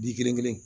Bi kelen kelen